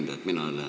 Hea ettekandja!